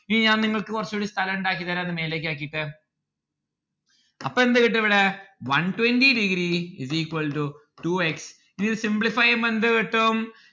ഇനി ഞാൻ നിങ്ങൾക്ക് കൊറച്ചൂടി സ്ഥലം ഇണ്ടാക്കി തരാം ഇത് മേലേക്ക് ആക്കിയിട്ട് അപ്പൊ എന്ത് കിട്ടും ഇവിടെ one twenty degree is equal to two x ഇനി ഇത് simplify എയ്യുമ്പോ എന്ത് കിട്ടും